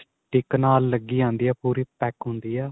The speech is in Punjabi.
stick ਨਾਲ ਲੱਗੀ ਆਂਦੀ ਹੈ ਪੂਰੀ pack ਹੁੰਦੀ ਏ